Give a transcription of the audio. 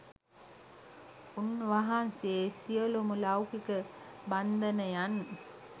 උන් වහන්සේ සියලුම ලෞකික බන්ධනයන්